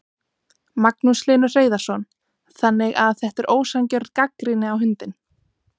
Magnús Hlynur Hreiðarsson: Þannig að þetta er ósanngjörn gagnrýni á hundinn?